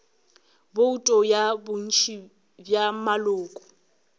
bouto ya bontši bja maloko